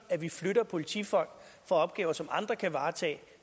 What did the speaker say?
at vi flytter politifolk fra opgaver som andre kan varetage